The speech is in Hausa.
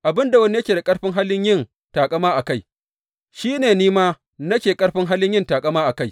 Abin da wani yake da ƙarfin hali yin taƙama a kai, shi ne ni ma nake ƙarfin hali yin taƙama a kai.